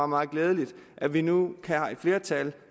meget glædeligt at vi nu er et flertal